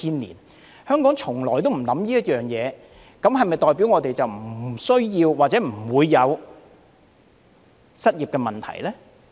然而，香港從來沒有考慮此事，這是否代表我們不需要或者不會有失業問題呢？